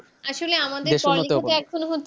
আসলে আমাদের পড়ালেখা তো এখন